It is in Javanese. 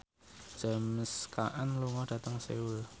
James Caan lunga dhateng Seoul